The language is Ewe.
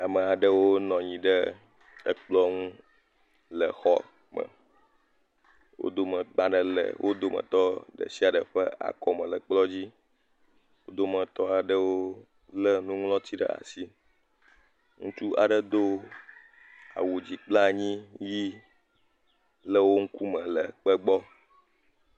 Amaɖewo nɔnyi ɖe ekplɔ̃ ŋu le xɔ me, wodomɛ kpadelɛ wodomɛ tɔ dɛhyiadɛ fɛ akɔmɛ lɛ kplɔ dzi odomɛ tɔ adɛ wo lɛ nuŊlɔtsi de ashi. Ntsu ade do awudzi klpɛ anyi yi lɛ wo nku mɛ le kpɛ bgɔ